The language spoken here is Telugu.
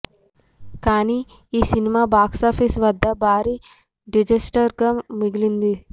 కాని ఆ సినిమా బాక్సాఫీస్ వద్ద భారీ డిజాస్టర్ గా మిగిలింది